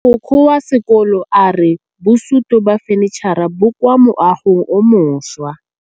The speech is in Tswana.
Mogokgo wa sekolo a re bosutô ba fanitšhara bo kwa moagong o mošwa.